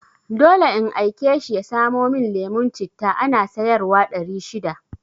Dole in aike shi ya samo mun lemon citta, ana sayar wa ɗari shida